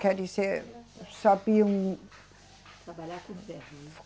Quer dizer, sabiam. Trabalhar com ferro, né?